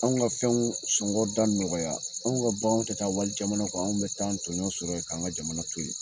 Anw ka fɛnw sɔngɔ da nɔgɔya anw ka banganw tɛ taa wali jamana kan anw bɛ taa tɔɲɔn sɔrɔ ye k'an ka jamana to ye